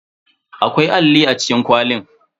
Akwai alli a cikin kwalin.